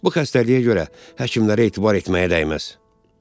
Bu xəstəliyə görə həkimlərə etibar etməyə dəyməz.